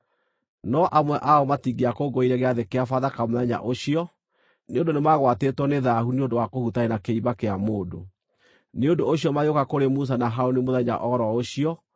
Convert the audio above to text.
No amwe ao matingĩakũngũĩire Gĩathĩ-kĩa-Bathaka mũthenya ũcio nĩ ũndũ nĩmagwatĩtwo nĩ thaahu nĩ ũndũ wa kũhutania na kĩimba kĩa mũndũ. Nĩ ũndũ ũcio magĩũka kũrĩ Musa na Harũni mũthenya o ro ũcio